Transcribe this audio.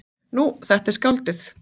Nú, þetta er skáldið.